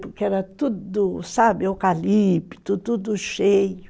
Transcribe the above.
Porque era tudo, sabe, eucalipto, tudo cheio.